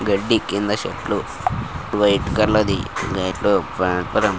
గడ్డి కింద చెట్లు వైట్ కలర్ ఫ్యాన్--